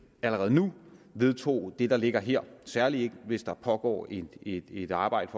allerede nu vedtog det der ligger her særlig ikke hvis der pågår et et arbejde